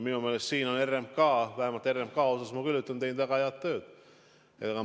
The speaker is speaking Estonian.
Minu meelest on RMK – vähemalt RMK kohta ma küll julgen öelda – teinud siin väga head tööd.